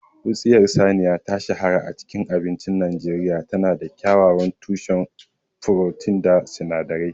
Wutsiyar saniya ta shahara a cikin abincin Najeriya. Tana da kyakkyawan tushen furotin da sinadarai